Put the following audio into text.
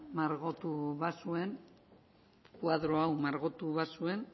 margotu bazuen koadro hau margotu bazuen